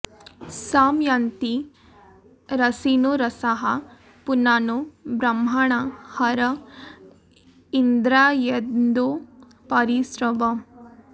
सं य॑न्ति र॒सिनो॒ रसाः॑ पुना॒नो ब्रह्म॑णा हर॒ इन्द्रा॑येन्दो॒ परि॑ स्रव